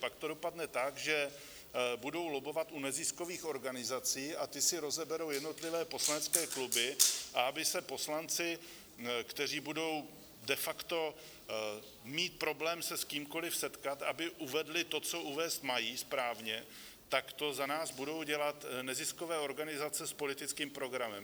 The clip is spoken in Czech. Pak to dopadne tak, že budou lobbovat u neziskových organizací a ty si rozeberou jednotlivé poslanecké kluby, a aby se poslanci, kteří budou de facto mít problém se s kýmkoli setkat, aby uvedli to, co uvést mají správně, tak to za nás budou dělat neziskové organizace s politickým programem.